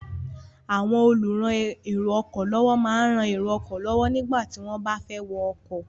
Àwọn olùran èrò ọkọ̀ lọ́wọ́ máa ń rán èrò ọkọ̀ lọ́wọ́ nígbà tí wọ́n bá fẹ́ wọ ọkọ̀.